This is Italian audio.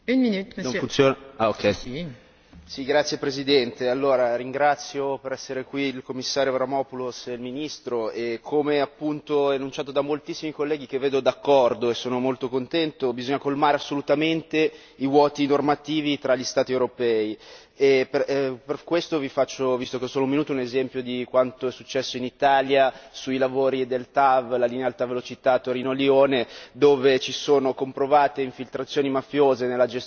Signora Presidente, onorevoli colleghi, ringrazio per essere qui il Commissario Avramopoulos e il Ministro, come enunciato da moltissimi colleghi che vedo d'accordo e sono molto contento bisogna colmare assolutamente i vuoti normativi tra gli Stati europei. Per questo visto che ho solo un minuto vi faccio un esempio di quanto è successo in Italia sui lavori del TAV, la linea ad alta velocità Torino Lione, dove ci sono comprovate infiltrazioni mafiose nella gestione degli appalti